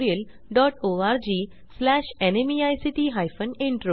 spoken tutorialorgnmeict intro